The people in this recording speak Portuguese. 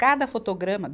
Cada fotograma.